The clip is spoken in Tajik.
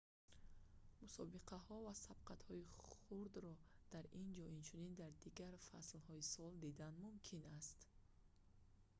мусобиқаҳо ва сабқатҳои хурдро дар ин ҷо инчунин дар дигар фаслҳои сол дидан мумкин аст